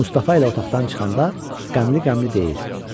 Mustafa ilə otaqdan çıxanda qəmli-qəmli deyir: